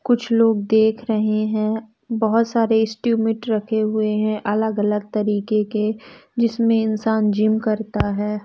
कुछ लोग देख रहे हैं बहोत सारे इस्टुमेट रखें हुए हैं अलग अलग तरीके के जिसमें इंसान जिम करता है।